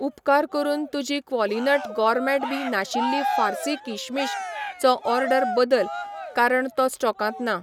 उपकार करून तुजी क्वॉलिनट गॉरमेट बीं नाशिल्लीं फार्सी किशमिश चो ऑर्डर बदल कारण तो स्टॉकांत ना